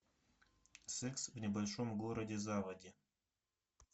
секс в небольшом городе заводи